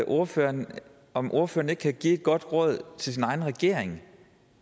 ordføreren om ordføreren ikke kan give et godt råd til sin egen regering